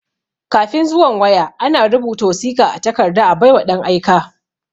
Kafin zuwan waya,a na rubuta wasiƙa a takarda a bai wa ɗan aika.